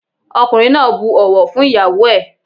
Ọkùnrin náà bu ọ̀wọ̀ fún ìyáwó ẹ̀.